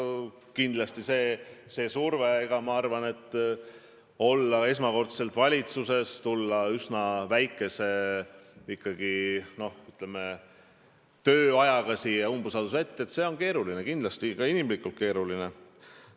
Kindlasti on raske esmakordselt valitsuses olla ja tulla pärast üsna lühikest ametiaega siia umbusalduse avaldajate ette – see on muidugi keeruline, ka inimlikult keeruline.